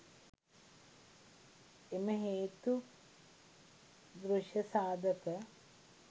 එම හේතු දෘෂ්‍ය සාධක